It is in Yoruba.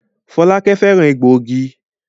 Folake féràn egboigi.